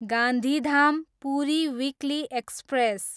Gandhidham, Puri weekly express